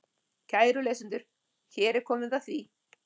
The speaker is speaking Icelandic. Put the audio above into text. Kæru lesendur, hér er komið að því.